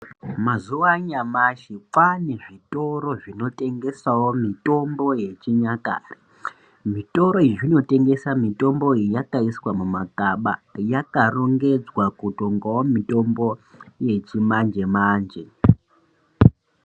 Mazuva anyamashi kwane zvitoro zvinotengesawo mitombo yechinyakare zvitoro izvi zvinotengesa mitombo iyi yakaiswa mumakaba yakarongedzwa kutongowawo mitombo yechimanje manje.